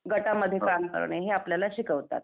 गटामध्ये काम करणं हे आपल्याला शिकवतात.